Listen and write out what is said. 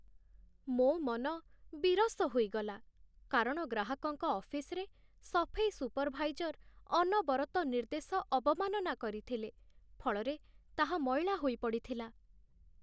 ମୋ ମନ ବିରସ ହୋଇଗଲା, କାରଣ ଗ୍ରାହକଙ୍କ ଅଫିସରେ ସଫେଇ ସୁପରଭାଇଜର୍ ଅନବରତ ନିର୍ଦ୍ଦେଶ ଅବମାନନା କରିଥିଲେ, ଫଳରେ ତାହା ମଇଳା ହୋଇ ପଡ଼ିଥିଲା।